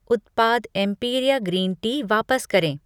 उत्पाद Empiria green tea वापस करें।